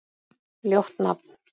Ljótt nafn.